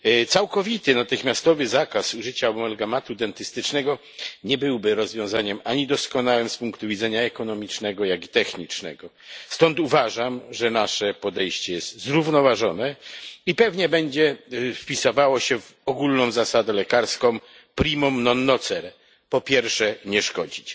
Całkowity natychmiastowy zakaz użycia amalgamatu dentystycznego nie byłby rozwiązaniem doskonałym ani z punktu widzenia ekonomicznego, ani technicznego. Stąd uważam, że nasze podejście jest zrównoważone i pewnie będzie wpisywało się w ogólną zasadę lekarską po pierwsze nie szkodzić.